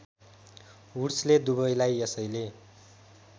वुड्सले दुबईलाई यसैले